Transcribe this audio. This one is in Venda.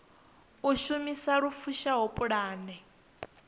u shumisa lu fushaho pulane